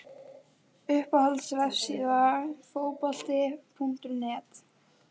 Uppáhalds vefsíða? Fótbolti.net